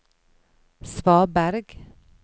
svaberg